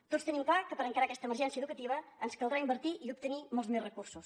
tots tenim clar que per encarar aquesta emergència educativa ens caldrà invertir i obtenir molts més recursos